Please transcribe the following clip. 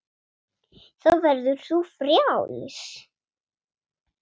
Þá verður þú frjáls.